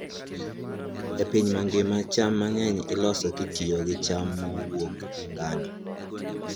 E piny mangima, cham mang'eny iloso kitiyo gi cham mowuok e ngano.